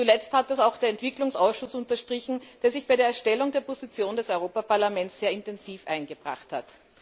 Zuletzt hat das auch der Entwicklungsausschuss unterstrichen, der sich bei der Erstellung der Position des Europäischen Parlaments sehr intensiv eingebracht hat.